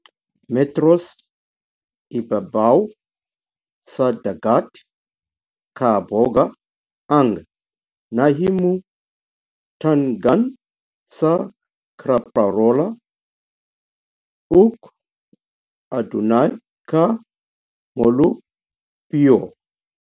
Metros ibabaw sa dagat kahaboga ang nahimutangan sa Caprarola, ug adunay ka molupyo.